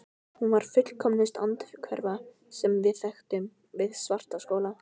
Hún var fullkomnust andhverfa, sem við þekktum, við Svartaskóla.